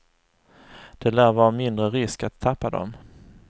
Det lär vara mindre risk att tappa dem.